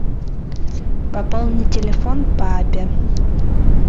пополни телефон папе